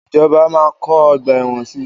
Ìjọba máa kọ́ ọgbà ẹ̀wọ̀n si.